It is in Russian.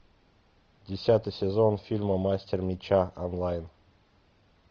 десятый сезон фильма мастер меча онлайн